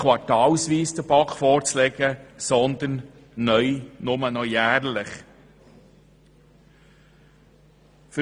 Dieses soll der BaK nicht mehr quartalsweise sondern neu nur noch jährlich vorgelegt werden.